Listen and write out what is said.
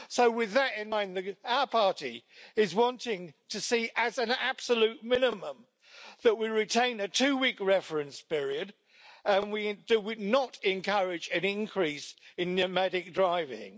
So with that in mind, our party is wanting to see, as an absolute minimum, that we retain a two week reference period that would not encourage an increase in nomadic driving.